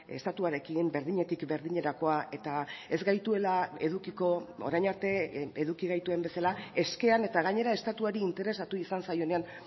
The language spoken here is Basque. estatuarekin berdinetik berdinerakoa eta ez gaituela edukiko orain arte eduki gaituen bezala eskean eta gainera estatuari interesatu izan zaionean